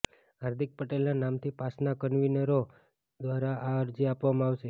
હાર્દિક પટેલના નામથી પાસના કન્વીનરો દ્વારા આ અરજી આપવામાં આવશે